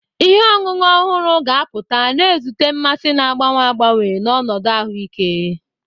Ihe ọṅụṅụ ọhụrụ ga-apụta, na-ezute mmasị na-agbanwe agbanwe na ọnọdụ ahụike.